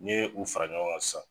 N'i ye u fara ɲɔgɔnga sisan